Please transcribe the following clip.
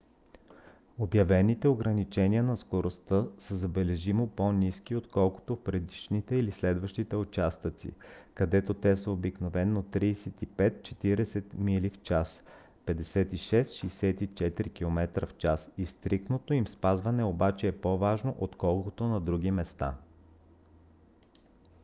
обявените ограничения на скоростта са забележимо по-ниски отколкото в предишните или следващите участъци където те са обикновено 35 – 40 mph 56 – 64 км/ч и стриктното им спазване обаче е по-важно отколкото на други места